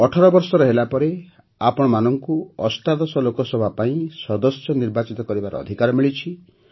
ଅଠରବର୍ଷର ହେଲାପରେ ଆପଣଙ୍କୁ ଅଷ୍ଟାଦଶ ଅଠରତମ ଲୋକସଭା ପାଇଁ ସଦସ୍ୟ ନିର୍ବାଚିତ କରିବାର ଅଧିକାର ମିଳିଛି